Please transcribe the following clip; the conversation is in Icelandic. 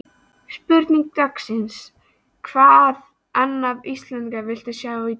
Spurning dagsins: Hvaða annan Íslending viltu sjá í deildinni?